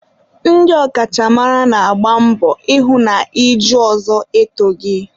ndị ọkachamara na-agba mbọ ịhụ na iju ọzọ etoghi.